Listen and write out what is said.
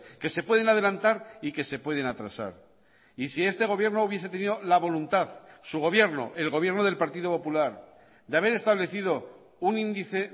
que se pueden adelantar y que se pueden atrasar y si este gobierno hubiese tenido la voluntad su gobierno el gobierno del partido popular de haber establecido un índice